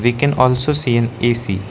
we can also see an A_C.